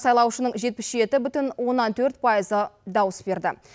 сайлаушының жетпіс жеті бүтін оннан төрт пайызы дауыс берді